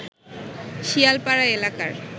শিয়ালপাড়া এলাকার